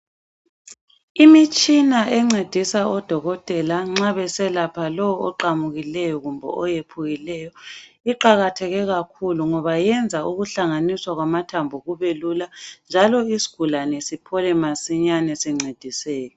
Imitshina encedisa odokotela nxa beselapha lo oqamukileyo kumbe oyephukileyo iqakatheke kakhulu ngoba yenza ukuhlanganisa kwamathambu kube lula njalo isigulane siphole masinyane sincediseke.